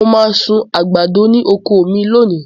Mo máa sun àgbàdo ní oko mi lónìí.